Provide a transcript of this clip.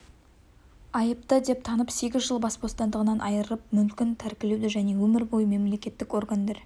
айыпты деп танып сегіз жыл бас бостандығынан айырып мүлкін тәркілеуді және өмір бойы мемлекеттік органдар